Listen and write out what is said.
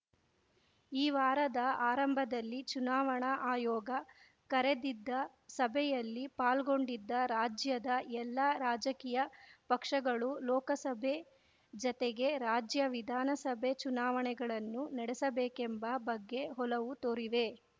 ಈ ವಾರದ ಆರಂಭದಲ್ಲಿ ಚುನಾವಣಾ ಆಯೋಗ ಕರೆದಿದ್ದ ಸಭೆಯಲ್ಲಿ ಪಾಲ್ಗೊಂಡಿದ್ದ ರಾಜ್ಯದ ಎಲ್ಲ ರಾಜಕೀಯ ಪಕ್ಷಗಳು ಲೋಕಸಭೆ ಜತೆಗೆ ರಾಜ್ಯ ವಿಧಾನಸಭೆ ಚುನಾವಣೆಗಳನ್ನು ನಡೆಸಬೇಕೆಂಬ ಬಗ್ಗೆ ಒಲವು ತೋರಿವೆ